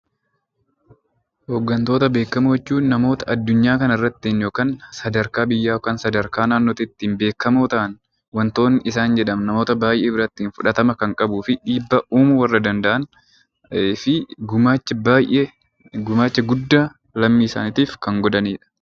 Hooggantoota beekamoo jechuun namoota addunyaa kanarratti yookaan sadarkaa biyyaa yookaan sadarkaa naannootti beekamoo ta'an wantoonni jedhan namoota baay'ee biratti fudhatamaa kan ta'ee fi dhiibbaa uumuu kan danda'anii fi gumaacha baay'ee gumaacha baay'ee lammii isaaniif godhanidha.